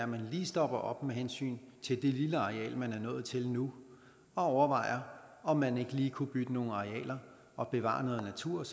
man lige stopper op med hensyn til det lille areal man er nået til nu og overvejer om man ikke lige kunne bytte nogle arealer og bevare noget natur